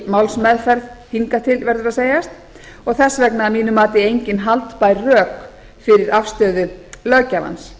málsmeðferð hingað til verður að segjast og þess vegna að mínu mati engin haldbær rök fyrir afstöðu löggjafans